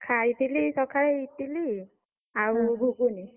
ଖାଇଥିଲି ସକାଳେ ଇଟିଲି, ଆଉ ଘୁଗୁନି।